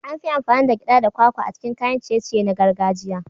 An fi amfani da gyaɗa da kwakwa a cikin kayan ciye-ciye na gargajiya.